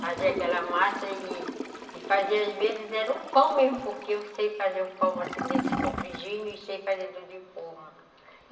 Fazia aquela massa e e fazia, às vezes, era o pão mesmo, porque eu sei fazer o pão, assim, desse compridinho e sei fazer do de forma.